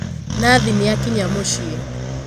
Nathi nīakinya mūciī.